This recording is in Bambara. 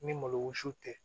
Ni malo wusu tɛ